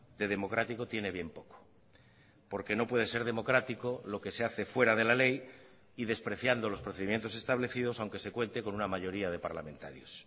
de democrático tiene bien poco porque no puede ser democrático lo que se hace fuera de la ley y despreciando los procedimientos establecidos aunque se cuente con una mayoría de parlamentarios